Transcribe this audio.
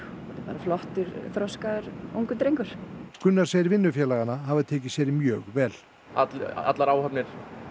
flottur þroskaður ungur drengur Gunnar segir vinnufélagana hafa tekið sér mjög vel allar áhafnir